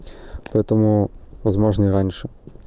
поэтому возможно и раньше